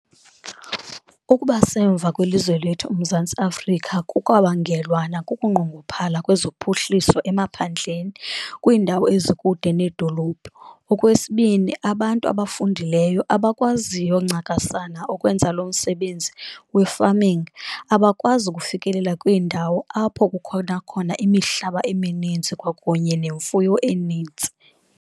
Ukuba semva kwelizwe lethu uMzantsi Afrika kukwabangelwa nakukunqongophala kwezophuhliso emaphandleni kwiindawo ezikude needolophu. Okwesibini, abantu abafundileyo abakwaziyo ncakasana ukwenza lo msebenzi kwi-farming abakwazi ukufikelela kwiindawo apho kukhona khona imihlaba emininzi kwakunye nemfuyo enintsi.